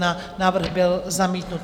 Návrh byl zamítnut.